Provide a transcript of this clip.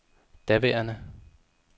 daværende